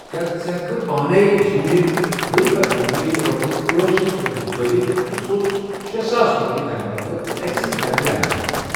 کیا ژٕ ہیکِہ کھہ پانے زوٗنہِ ؤری پتہٕ ؤری رۄپیَس أٹھ شیتھ سوزٕنۍ رُکاوِتھ تہٕ سوزُس شے ساس رۄپیہِ تمہِ بدلہٕ ایٚکسِس بیٚنٛک لایِمَس پیٹھ؟